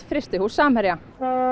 frystihús Samherja